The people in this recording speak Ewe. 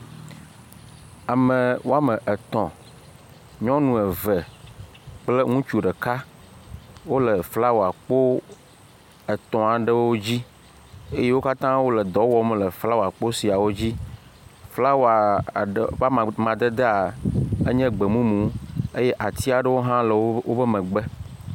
Ame woame etɔ̃, nyɔnu eve kple ŋutsu ɖeka wole flawakpo etɔ̃ aɖewo dzi eye wo katã wole dɔ wɔm le flawakpo siawo dzi. Flawa ade ƒe amadedea, enye gbemumu eye atia ɖewo le woƒe megbe.